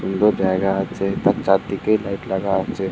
সুন্দর জায়গা আছে তার চারদিকে লাইট লাগা আছে ।